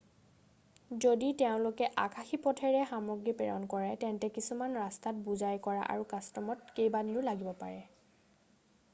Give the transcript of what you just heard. যদি তেওঁলোকে আকাশী পথেৰে সামগ্ৰী প্ৰেৰণ কৰে তেন্তে কিছুমান ৰাস্তাত বোজাই কৰা আৰু কাষ্টমত কেইবাদিনো লাগিব পাৰে